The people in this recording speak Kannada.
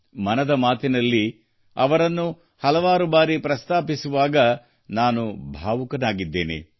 ಮನದ ಮಾತಿನಲ್ಲಿ ಅವರನ್ನು ಹಲವು ಬಾರಿ ಪ್ರಸ್ತಾಪಿಸುವಾಗ ನಾನು ಭಾವುಕನಾಗಿದ್ದೇನೆ